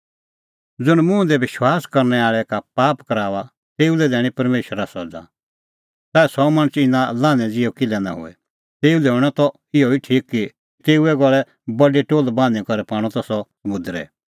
ज़ुंण मुंह दी विश्वास करनै आल़ै का पाप कराऊआ तेऊ लै दैणीं परमेशरा सज़ा च़ाऐ सह मणछ इना लान्हैं ज़िहअ किल्है निं होए तेऊ लै हणअ त इहअ ठीक कि तेऊए गल़ै बडी टोल्ह बान्हीं करै पाणअ त सह समुंदरै